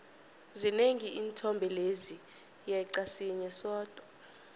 zinengi iinthombe lezi yeqa sinye sodwa